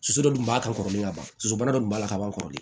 Soso dɔ dun b'a kan kɔrɔlen ka ban soso dɔ tun b'a la ka ban kɔrɔlen